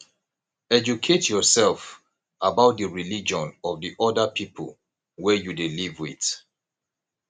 educate yourself about di religion of di oda pipo wey you dey live with